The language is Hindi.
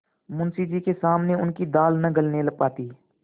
मुंशी जी के सामने उनकी दाल न गलने पाती